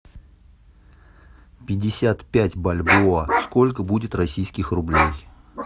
пятьдесят пять бальбоа сколько будет российских рублей